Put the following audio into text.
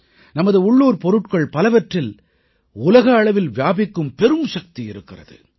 நமது உள்ளூர் பொருட்கள் பலவற்றில் உலக அளவில் வியாபிக்கும் பெரும்சக்தி இருக்கிறது